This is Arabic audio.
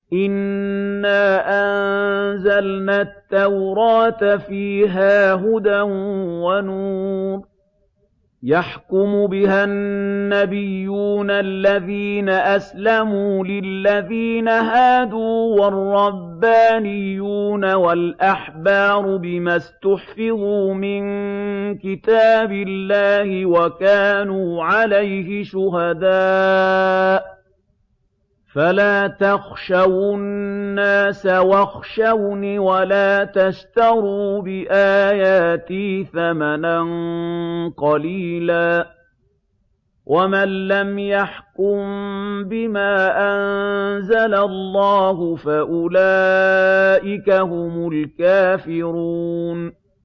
إِنَّا أَنزَلْنَا التَّوْرَاةَ فِيهَا هُدًى وَنُورٌ ۚ يَحْكُمُ بِهَا النَّبِيُّونَ الَّذِينَ أَسْلَمُوا لِلَّذِينَ هَادُوا وَالرَّبَّانِيُّونَ وَالْأَحْبَارُ بِمَا اسْتُحْفِظُوا مِن كِتَابِ اللَّهِ وَكَانُوا عَلَيْهِ شُهَدَاءَ ۚ فَلَا تَخْشَوُا النَّاسَ وَاخْشَوْنِ وَلَا تَشْتَرُوا بِآيَاتِي ثَمَنًا قَلِيلًا ۚ وَمَن لَّمْ يَحْكُم بِمَا أَنزَلَ اللَّهُ فَأُولَٰئِكَ هُمُ الْكَافِرُونَ